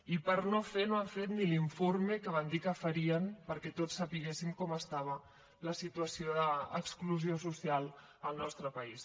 i per no fer no han fet ni l’informe que van dir que farien perquè tots sabéssim com estava la situació d’exclusió social al nostre país